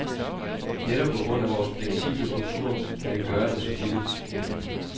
Netop på grund af vores fleksible struktur kan vi gøre det så billigt.